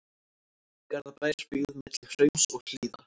Garðabær, byggð milli hrauns og hlíða.